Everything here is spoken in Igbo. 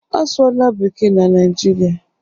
Asụọla bekee n'Naịjirịa.